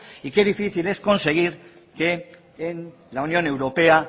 y qué difícil es conseguir que en la unión europea